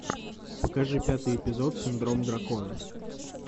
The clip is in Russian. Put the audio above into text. покажи пятый эпизод синдром дракона